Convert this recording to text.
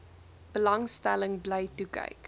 belangstelling bly toekyk